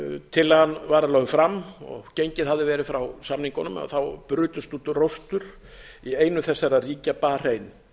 tillagan var lögð fram og gengið hafði verið frá samningunum brutust út róstur í einu þessara ríkja barein